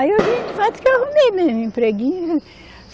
Aí eu disse, eu arrumei mesmo, empreguinho.